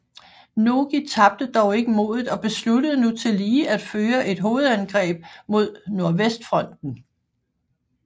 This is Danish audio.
Nogi tabte dog ikke modet og besluttede nu tillige at føre et hovedangreb mod nordvestfronten